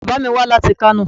Bàbá mi wá láti Kano.